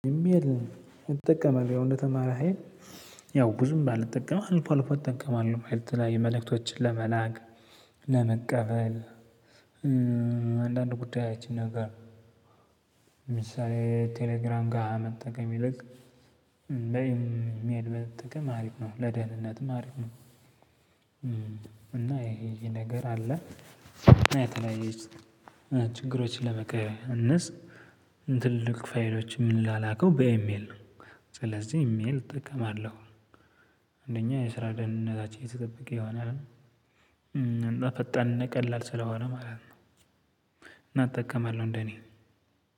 ኢሜል እጠቀማለሁ ያው እንደተማረ ሀይል ያው ብዙም ባልጠቀም አልፎ አልፎ እጠቀማለሁ ማለት የተለያዩ መልእክቶችን ለመላክ ለመቀበል። አንዳንድ ጉዳዮችን ነገር ለምሳሌ ቴሌግራም ጋ መጠቀም ይልቅ በኢሜል መጠቀም አሪፍ ነው ለደህንነትም አሪፍ ነው። እና ይሄ ይሄ ነገር አለ። ችግሮችን ለመቀነስ ትልልቅ ፋይሎችን በኢሜል ነው ስለዚህ ኢሜል እጠቀማለሁ። አንደኛ የስራ ደህንነታችን የተጠበቀ ይሆናል። እና ፈጣንን ቀላል ስለሆነ ማለት ነው። እና እጠቀማለሁ እንደኔ